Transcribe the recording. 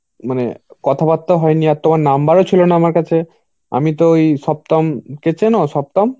মানে কথাবার্তা হয়নি. আর তোমার number ও ছিল না আমার কাছে. আমি তো ওই সপ্তম কে চেনো? সপ্তম?